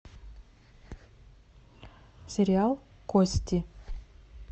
сериал кости